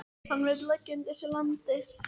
Hann vill leggja undir sig landið.